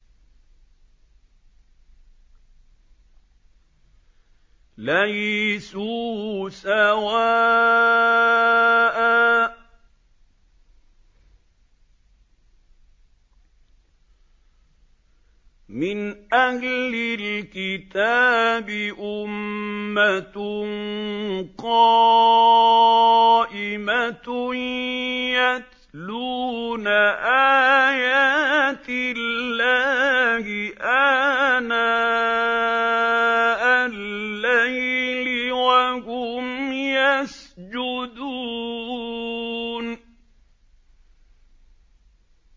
۞ لَيْسُوا سَوَاءً ۗ مِّنْ أَهْلِ الْكِتَابِ أُمَّةٌ قَائِمَةٌ يَتْلُونَ آيَاتِ اللَّهِ آنَاءَ اللَّيْلِ وَهُمْ يَسْجُدُونَ